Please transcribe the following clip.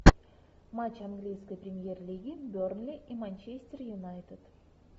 матч английской премьер лиги бернли и манчестер юнайтед